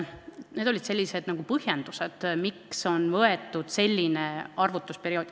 Need olid põhjendused, miks on valitud selline arvutusperiood.